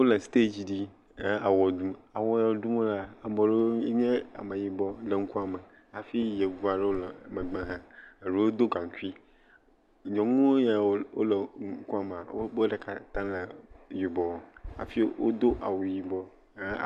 Wole sitɛdzi dzi, he awɔ ɖum, awɔ yi ɖum wolea ame ɖewo nye ame yibɔ le ŋkume hafi yevuwo le megbe hã, eɖewo do gaŋkui, nyɔnu yewo le wole ŋkua me woƒe ɖeka ta awu yibɔ afi wodo awu yibɔ he.